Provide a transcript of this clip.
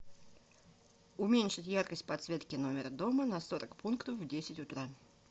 уменьшить яркость подсветки номера дома на сорок пунктов в десять утра